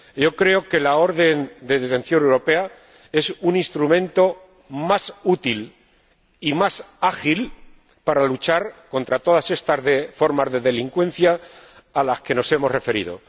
yo creo que la orden de detención europea es un instrumento más útil y más ágil para luchar contra todas estas formas de delincuencia a las que nos hemos referido.